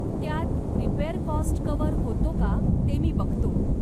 त्यात repair cost cover होतो का ते मी बघतो..